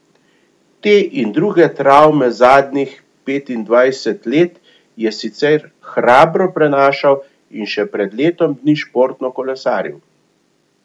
Te in druge travme zadnjih petindvajset let je sicer hrabro prenašal in še pred letom dni športno kolesaril.